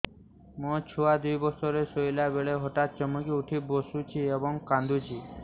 ମୋ ଛୁଆ ଦୁଇ ବର୍ଷର ଶୋଇଲା ବେଳେ ହଠାତ୍ ଚମକି ଉଠି ବସୁଛି ଏବଂ କାଂଦୁଛି